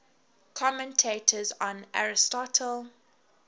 commentators on aristotle